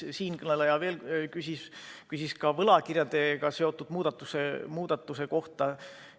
Siinkõneleja küsis ka võlakirjadega seotud muudatuse kohta.